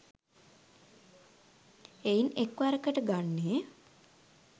එයින් එක් වරකට ගන්නේ